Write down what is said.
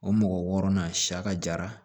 O mɔgɔ wɔɔrɔ na saya ka jara